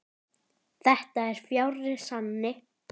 Þetta er fjarri sanni.